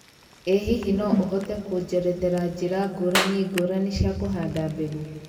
ĩ hihi no ũhote kũnjerethera njĩra ngũrani ngũrani cia kũhanda mbegu